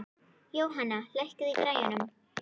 Jóhanna, lækkaðu í græjunum.